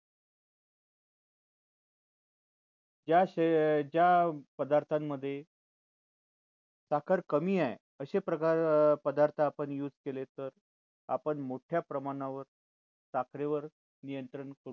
या शरि ज्या पदार्थांमध्ये साखर कमी आहे असे प्रकार पदार्थ आपण use केले तर आपण मोठ्या प्रमाणावर साखरे वर नियंत्रण करू शकतो